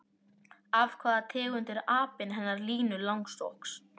Af hvaða tegund er apinn hennar Línu langsokks?